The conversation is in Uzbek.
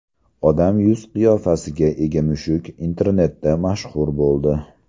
Odam yuz-qiyofasiga ega mushuk internetda mashhur bo‘ldi .